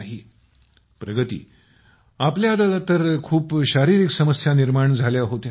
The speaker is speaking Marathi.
मोदी जीः प्रगती आपल्याला तर खूप शारीरिक समस्या निर्माण झाल्या होत्या